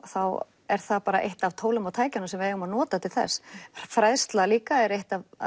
þá er það bara eitt af tólunum og tækjunum sem við eigum að nota til þess fræðsla er líka eitt af